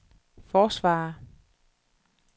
forsvarer